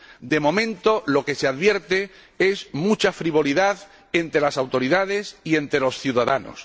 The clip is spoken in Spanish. De momento, lo que se advierte es mucha frivolidad entre las autoridades y entre los ciudadanos.